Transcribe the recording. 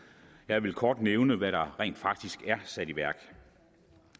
jeg vil kort nævne hvad der rent faktisk er sat i værk